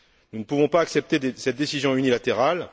Nous ne pouvons pas accepter cette décision unilatérale.